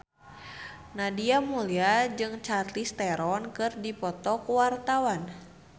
Nadia Mulya jeung Charlize Theron keur dipoto ku wartawan